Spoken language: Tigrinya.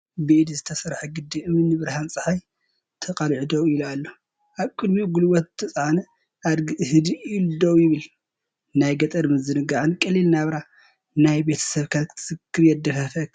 ብኢድ ዝተሰርሐ ግድብ እምኒ ንብርሃን ጸሓይ ተቓሊዑ ደው ኢሉ ኣሎ። ኣብ ቅድሚኡ ጉልበት ዝተጻዕነ ኣድጊ ህድእ ኢሉ ደው ይብል፣ ናይ ገጠር ምዝንጋዕን ቀሊል ናብራ ናይ ቤተሰብካን ክትዝር የደፋፈአካ።